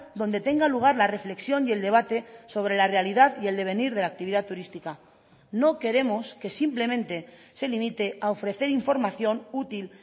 donde tenga lugar la reflexión y el debate sobre la realidad y el devenir de la actividad turística no queremos que simplemente se limite a ofrecer información útil